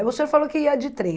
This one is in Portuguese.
O senhor falou que ia de trem.